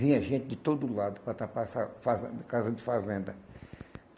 Vinha gente de todo lado para tapar essa fazenda, casa de fazenda.